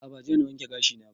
A'a ba jiya na wanke gashi na ba